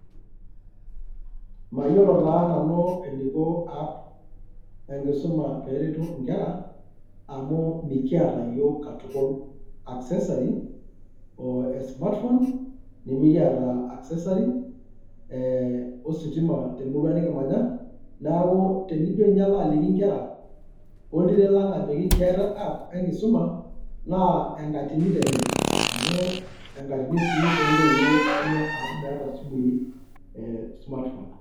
mayiolo taa nanu eneiko app enkisuma pee eretu inkera, pee eretu inkera amu mikiata iyiook katukul accessary e smartphone, nimikiata accessary ositima te murua nikimanya, amu tenijo ninye alo aliki inkera oltiren lang ajokj keetae app enkisuma naa enkatini te ninche amu enkatini sii too ntoiwuo enye amu meeta sii smartphone.